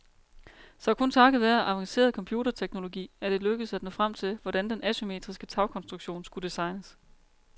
Så kun takket være avanceret computerteknologi er det lykkedes at nå frem til, hvordan den asymmetriske tagkonstruktion skulle designes.